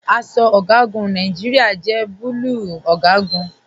Aṣọ ọgagun Nàìjíríà jẹ bùlúù ọgagun.